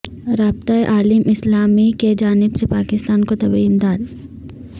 رابطہ عالم اسلامی کیجانب سے پاکستان کو طبی امداد